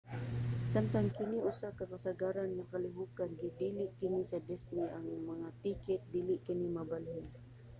samtang kini usa ka kasagaran nga kalihokan gidili kini sa disney: ang mga tiket dili kini mabalhin